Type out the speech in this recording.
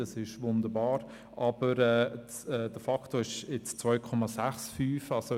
Das ist wunderbar, aber der Faktor ist nun 2,65.